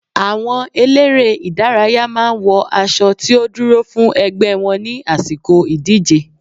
Àwọn eléré ìdárayá máa ń wọ aṣo tí ó dúró fún ẹgbẹ́ wọn ní àsìkò ìdíje.